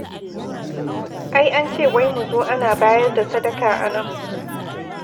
Ai an ce wai mu zo ana bayar da sadaka a nan.